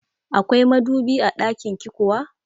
Akwai madubi a ɗakinki kuwa?